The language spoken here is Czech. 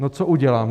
No, co udělám?